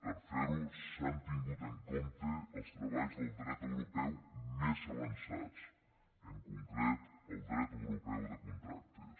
per fer ho s’han tingut en compte els treballs del dret europeu més avançat en concret el dret europeu de contractes